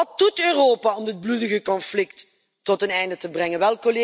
Wat doet Europa om dit bloedige conflict tot een einde te brengen?